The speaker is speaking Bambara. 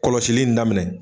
Kɔlɔsili in daminɛ